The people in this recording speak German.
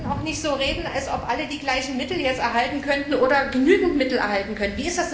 Wir sollten auch nicht so reden, als ob alle jetzt die gleichen Mittel erhalten könnten oder genügend Mittel erhalten könnten.